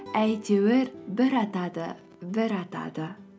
әйтеуір бір атады бір атады